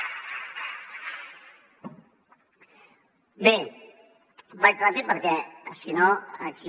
bé vaig ràpid perquè si no aquí